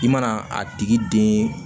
I mana a tigi den